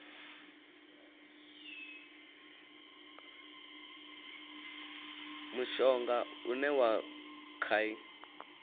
mushonga une wa kha i